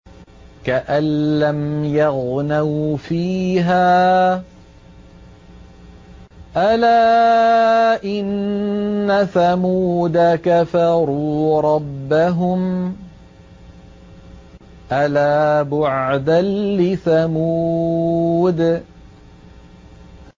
كَأَن لَّمْ يَغْنَوْا فِيهَا ۗ أَلَا إِنَّ ثَمُودَ كَفَرُوا رَبَّهُمْ ۗ أَلَا بُعْدًا لِّثَمُودَ